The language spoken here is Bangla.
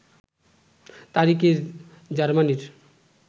তারিখে জার্মানীর